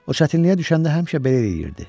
O çətinliyə düşəndə həmişə belə eləyirdi.